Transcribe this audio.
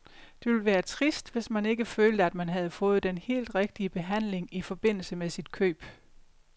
Det ville være trist, hvis man ikke følte, at man havde fået den helt rigtige behandling i forbindelse med sit køb.